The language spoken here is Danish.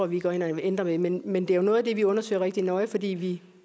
vi går ind og ændrer ved men men det er jo noget af det vi undersøger rigtig nøje fordi vi